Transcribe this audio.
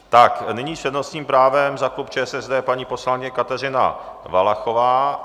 Tak nyní s přednostním právem za klub ČSSD paní poslankyně Kateřina Valachová.